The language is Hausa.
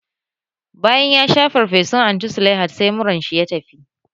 Bayan yasha farfesun Anti Sulaihat, sai murar shi ya tafi